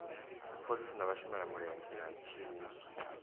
dziphoḽisi na vhashelamulenzhe na tshiimiswa